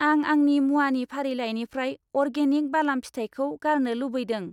आं आंनि मुवानि फारिलाइनिफ्राय अर्गेनिक बालाम फिथाइखौ गारनो लुबैदों।